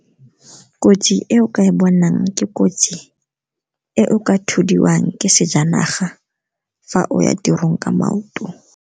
Kotsi e o ka e bonang, ke kotsi e o ka thudiwang ke sejanaga fa o ya tirong ka maoto.